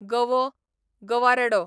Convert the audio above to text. गवो, गवारेडो